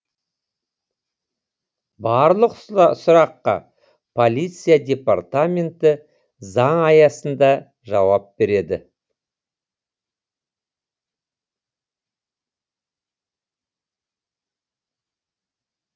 барлық сұраққа полиция департаменті заң аясында жауап береді